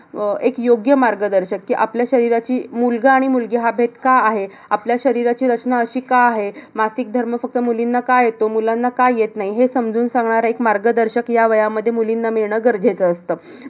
अह एक योग्य मार्गदर्शक की अह आपल्या शरीराची मुलगा आणि मुलगी हा भेद का आहे. आपल्या शरीराची रचना अशी का आहे? मासिक धर्म फक्त मुलींना का येतो? मुलांना का येत नाही. हे समजून सांगणारं एक मार्गदर्शक ह्या वयामध्ये मुलींना मिळणं गरजेचं असतं.